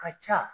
Ka ca